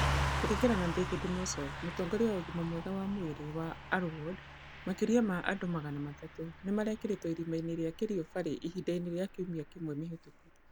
Kũringana na David Mosop, mũtongoria wa ũgima mwega wa mwĩrĩ wa Arror Ward, makĩria ma andũ magana matatũ nĩ marekĩrĩtwo irima-inĩ rĩa Kerio Valley ihinda-inĩ rĩa kiumia kĩmwe mĩhĩtũku.